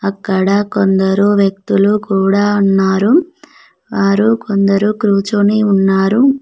అక్కడ కొందరు వ్యక్తులు కూడా ఉన్నారు వారు కొందరు కూర్చొని ఉన్నారు.